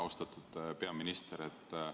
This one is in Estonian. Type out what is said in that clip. Austatud peaminister!